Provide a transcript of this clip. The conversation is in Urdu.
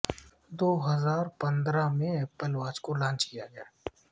دو ہزار پندرہ میں ایپل واچ کو لانچ کیا گیا